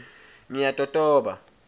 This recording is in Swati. ngiyatotoba